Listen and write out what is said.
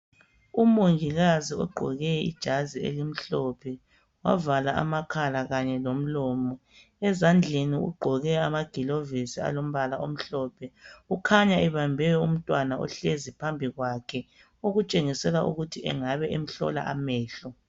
Umongikazi ogqoke ijazi elimhlophe. Wavala amakhala kanye lomlomo. Ukhanya ebambe umntwana ohlezi phambi kwakhe. Okutshengisela ukuthi angabe emhlola amehlo.